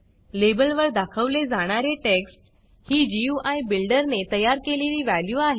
लेबलवर दाखवले जाणारे टेक्स्ट ही गुई बिल्डर ने तयार केलेली व्हॅल्यू आहे